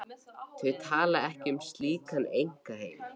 Þau tala ekki um slíkan einkaheim.